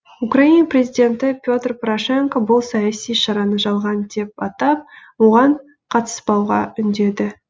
украина президенті петр порошенко бұл саяси шараны жалған деп атап оған қатыспауға үндеді